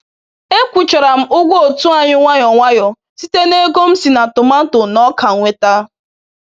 Ekwụchara m ụgwọ otu anyị nwayọ nwayọ site na ego m si na tomati na oka nweta.